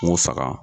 N k'u faga